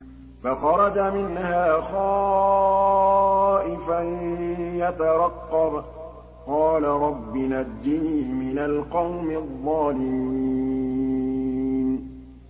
فَخَرَجَ مِنْهَا خَائِفًا يَتَرَقَّبُ ۖ قَالَ رَبِّ نَجِّنِي مِنَ الْقَوْمِ الظَّالِمِينَ